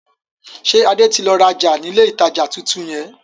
Ṣé Adé tí lọ rajá ni ilé ìtajà tuntun yẹn?